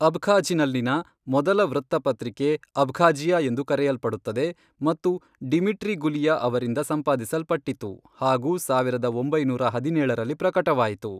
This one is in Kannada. ಅಬ್ಖಾಝ್ನಲ್ಲಿನ ಮೊದಲ ವೃತ್ತಪತ್ರಿಕೆ ಅಬ್ಖಾಜಿಯಾ ಎಂದು ಕರೆಯಲ್ಪಡುತ್ತದೆ ಮತ್ತು ಡಿಮಿಟ್ರಿ ಗುಲಿಯಾ ಅವರಿಂದ ಸಂಪಾದಿಸಲ್ಪಟ್ಟಿತು ಹಾಗೂ ಸಾವಿರದ ಒಂಬೈನೂರ ಹದಿನೇಳರಲ್ಲಿ ಪ್ರಕಟವಾಯಿತು.